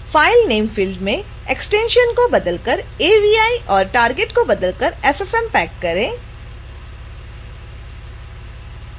file name field में extension को बदलकर avi और target को बदलकर ffmpeg करें